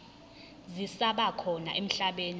zisaba khona emhlabeni